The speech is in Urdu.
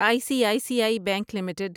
I C I C I bank limited